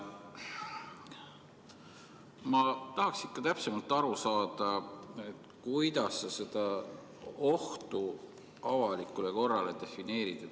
Ma tahaksin täpsemalt aru saada, kuidas sa seda ohtu avalikule korrale defineerid.